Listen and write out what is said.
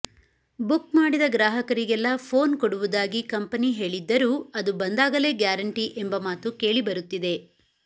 book ಮಾಡಿದ ಗ್ರಾಹಕರಿಗೆಲ್ಲಾ phone ಕೊಡುವುದಾಗಿ ಕಂಪನಿ ಹೇಳಿದ್ದರೂ ಅದು ಬಂದಾಗಲೇ ಗ್ಯಾರಂಟಿ ಎಂಬ ಮಾತು ಕೇಳಿ ಬರುತ್ತಿದೆ